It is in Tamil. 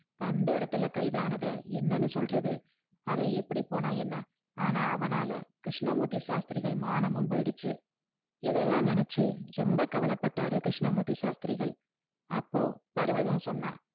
வந்தா இடத்துல கைதானத என்னனு சொல்றது அவ எப்படி போனா என்ன ஆனா அவனால கிருஷ்ணமூர்த்தி ஷாஷ்திரிகள் மானமும் போய்டுச்சி இதலாம் நினச்சி ரொம்ப கவல பட்டாரு கிருஷ்ணமூர்த்தி ஷாஷ்திரிகள் அப்போ பருவதம் சொன்னா